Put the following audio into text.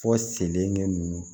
Fɔ selenkɛ nunnu